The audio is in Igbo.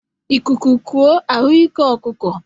Ịkuku kọọ, ahụ ike ọkụkọ